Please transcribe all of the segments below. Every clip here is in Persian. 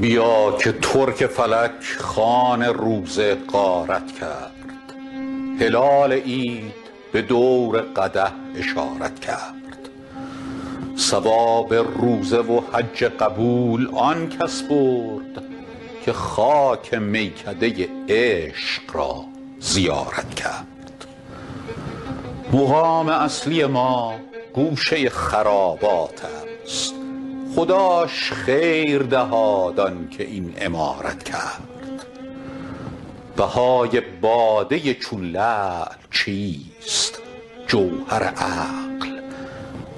بیا که ترک فلک خوان روزه غارت کرد هلال عید به دور قدح اشارت کرد ثواب روزه و حج قبول آن کس برد که خاک میکده عشق را زیارت کرد مقام اصلی ما گوشه خرابات است خداش خیر دهاد آن که این عمارت کرد بهای باده چون لعل چیست جوهر عقل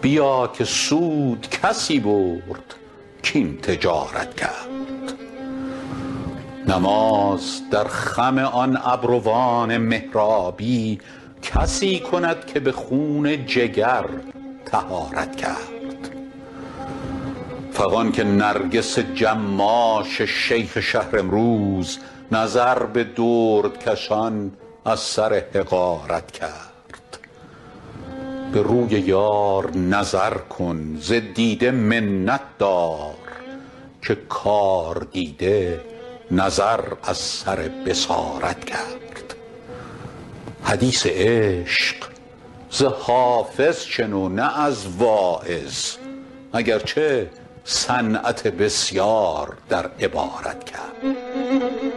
بیا که سود کسی برد کاین تجارت کرد نماز در خم آن ابروان محرابی کسی کند که به خون جگر طهارت کرد فغان که نرگس جماش شیخ شهر امروز نظر به دردکشان از سر حقارت کرد به روی یار نظر کن ز دیده منت دار که کاردیده نظر از سر بصارت کرد حدیث عشق ز حافظ شنو نه از واعظ اگر چه صنعت بسیار در عبارت کرد